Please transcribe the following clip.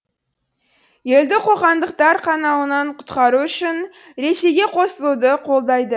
елді қоқандықтар қанауынан құтқару үшін ресейге қосылуды қолдайды